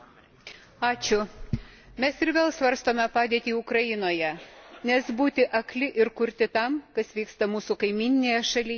Mes ir vėl svarstome padėtį Ukrainoje, nes būti akli ir kurti tam, kas vyksta mūsų kaimyninėje šalyje, mes jau negalime.